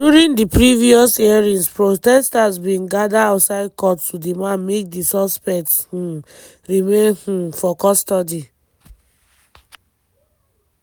during di previous hearings protesters bin gada outside court to demand make di suspects um remain um for custody.